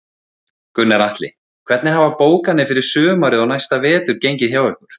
Gunnar Atli: Hvernig hafa bókanir fyrir sumarið og næsta vetur gengið hjá ykkur?